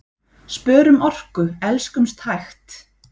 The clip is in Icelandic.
Spörum orku, elskumst hægt!